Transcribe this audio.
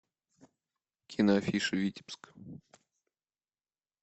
киноафиша витебск